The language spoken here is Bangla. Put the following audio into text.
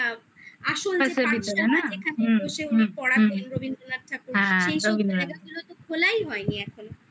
যেখানে বসে উনি পড়ার দিন রবীন্দ্রনাথ ঠাকুরের খোলাই হয়নি এখনো